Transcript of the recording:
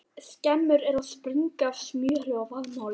Skemmur eru að springa af smjöri og vaðmáli!